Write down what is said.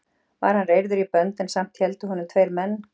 Var hann reyrður í bönd en samt héldu honum tveir menn.